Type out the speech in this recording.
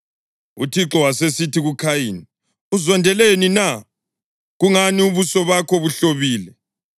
UThixo wasesithi kuKhayini, “Uzondeleni na? Kungani ubuso bakho buhlobile?